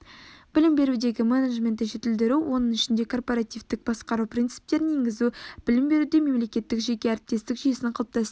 білім берудегі менеджментті жетілдіру оның ішінде корпоративтік басқару принциптерін енгізу білім беруде мемлекекеттік-жеке әріптестік жүйесін қалыптастыру